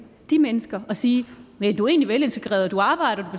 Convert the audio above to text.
de mennesker og sige næ du er egentlig velintegreret og du arbejder